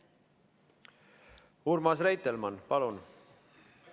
Urmas Reitelmann, palun!